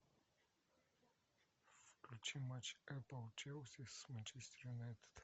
включи матч апл челси с манчестер юнайтед